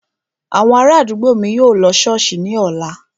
Àwọn ará àdúgbò mi yóò lọ ṣọ́ọ̀ṣì ní ọ̀la